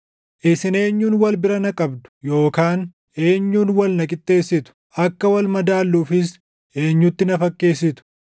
“Isin eenyuun wal bira na qabdu yookaan eenyuun wal na qixxeessitu? Akka wal madaalluufis eenyutti na fakkeessitu?